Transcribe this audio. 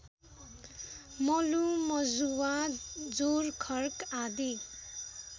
मलुमजुवा जोरखर्क आदि